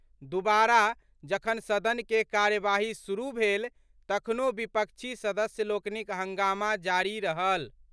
दुबारा जखन सदन के कार्यवाही शुरू भेल तखनो विपक्षी सदस्य लोकनिक हंगामा जारी रहल।